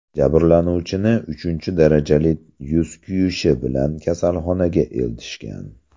Jabrlanuvchini uchinchi darajali yuz kuyishi bilan kasalxonaga eltishgan.